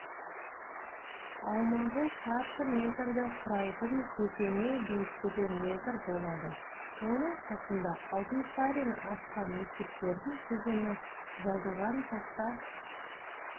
аумағы шаршы метрді құрайтың кесене биіктігі метр болады оның қасына алтынсарин ашқан мектептердің тізімі жазылған тақта